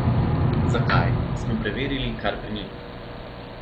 Zakaj, smo preverili kar pri njih.